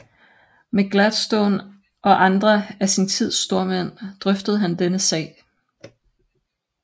Med Gladstone og andre af sin tids stormænd drøftede han denne sag